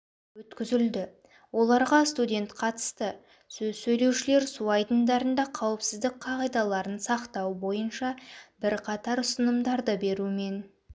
өткізілді оларға студент қатысты сөз сөйлеушілер су айдындарында қауіпсіздік қағидаларын сақтау бойынша бірқатар ұсынымдарды берумен